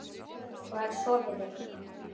Hvar sofiði?